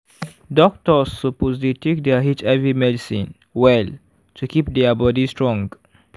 doctors suppose dey take their hiv medicine well to keep their body strong.